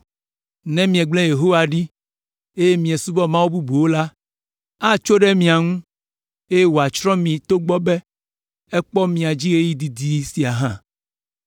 Ne miegblẽ Yehowa ɖi, eye miesubɔ mawu bubuwo la, atso ɖe mia ŋu, eye wòatsrɔ̃ mi togbɔ be ekpɔ mia dzi ɣeyiɣi didi sia hã.”